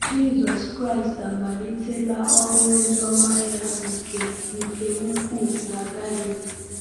Jisọs Kraịst amalitela ọrụ oziọma ya nke nke ukwuu na Galili.